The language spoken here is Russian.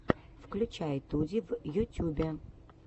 включай туди в ютюбе